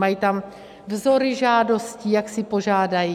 Mají tam vzory žádostí, jak si požádají.